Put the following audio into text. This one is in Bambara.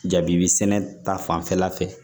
Jabi sɛnɛ ta fanfɛla fɛ